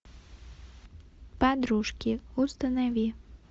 подружки установи